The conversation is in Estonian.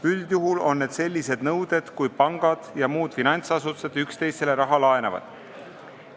Üldjuhul on need nõuded seotud sellega, kui pangad ja muud finantsasutused üksteisele raha laenavad.